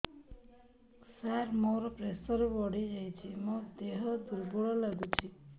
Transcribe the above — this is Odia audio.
ସାର ମୋର ପ୍ରେସର ବଢ଼ିଯାଇଛି ମୋ ଦିହ ଦୁର୍ବଳ ଲାଗୁଚି